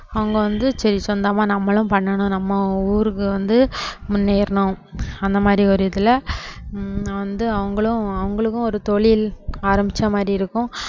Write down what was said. அவங்க வந்து சரி சொந்தமா நம்மளும் பண்ணணும் நம்ம ஊருக்கு வந்து முன்னேறணும் அந்த மாதிரி ஒரு இதுல ஹம் வந்து அவங்களும் அவங்களுக்கும் ஒரு தொழில் ஆரம்பிச்ச மாதிரி இருக்கும்